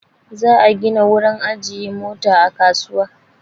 Za'a gina wurin ajiye Mota a kasuwa.